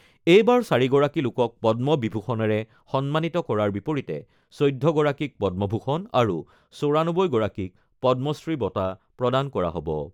এইবাৰ ৪গৰাকী লোকক পদ্ম বিভূষণেৰে সন্মানিত কৰাৰ বিপৰীতে ১৪গৰাকীক পদ্মভূষণ আৰু ৯৪গৰাকীক পদ্মশ্ৰী বঁটা প্ৰদান কৰা হ'ব।